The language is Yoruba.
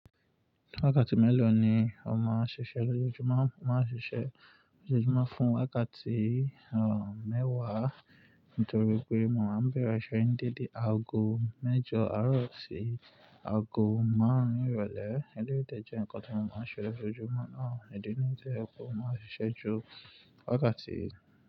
Wákàtí mélòó ni ó máa ń ṣiṣẹ́ lójoojúmọ́? Mo máa ń ṣiṣẹ́ lójoojúmọ́ fún wákàtí, mẹ́wàá nítorí pé mo máa ń bẹ̀rẹ̀ iṣẹ́ ní dédé aago mẹ́jọ àárọ̀ sí aago márùn-ún ìrọ̀lẹ́. Ẹ̀leyi de jẹ́ nǹkan tí mo máa ń ṣe lójoojúmọ́ náà, ìdí nìyí tí jo pe mo máa ń ṣiṣẹ́ ju wákàtí.